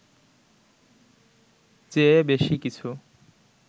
চেয়ে বেশি কিছু